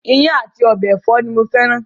Ìyàn àti ọbẹ̀ ẹ̀fọ́ ni ó fẹ́ran